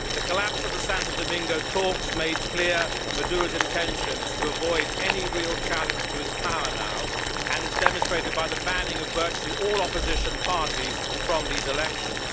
The collapse of the Santo Domingo talks made clear Maduro's intentions to avoid any real challenge to his power now, as was also demonstrated by the banning of virtually all opposition parties from these elections.